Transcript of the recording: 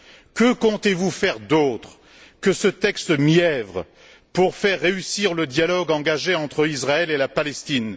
Que comptez vous faire d'autre que ce texte mièvre pour faire réussir le dialogue engagé entre Israël et la Palestine?